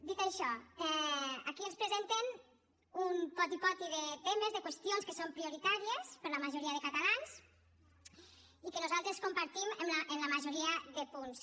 dit això aquí ens presenten un poti poti de temes de qüestions que són prioritàries per a la majoria de catalans i que nosaltres compartim en la majoria de punts